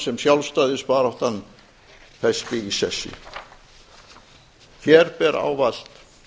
sem sjálfstæðisbaráttan festi í sessi hér ber ávallt